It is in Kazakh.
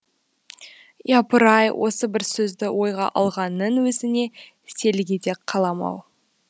япыр ай осы бір сөзді ойға алғанның өзіне селк ете қалам ау